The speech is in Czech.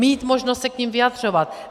Mít možnost se k nim vyjadřovat.